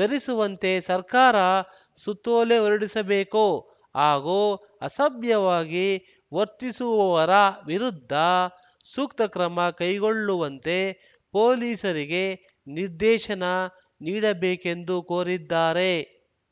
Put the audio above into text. ಧರಿಸುವಂತೆ ಸರ್ಕಾರ ಸುತ್ತೋಲೆ ಹೊರಡಿಸಬೇಕು ಹಾಗೂ ಅಸಭ್ಯವಾಗಿ ವರ್ತಿಸುವವರ ವಿರುದ್ಧ ಸೂಕ್ತ ಕ್ರಮ ಕೈಗೊಳ್ಳುವಂತೆ ಪೊಲೀಸರಿಗೆ ನಿರ್ದೇಶನ ನೀಡಬೇಕೆಂದು ಕೋರಿದ್ದಾರೆ